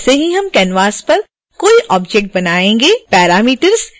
जैसे ही हम canvas पर कोई ऑब्जेक्ट बनायेंगे parameters दिखाई देने लगेंगे